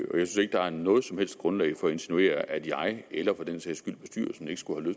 ikke der er noget som helst grundlag for at insinuere at jeg eller for den sags skyld bestyrelsen ikke skulle